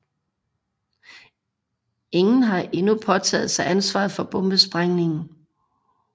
Ingen har endnu påtaget sig ansvaret for bombesprængningen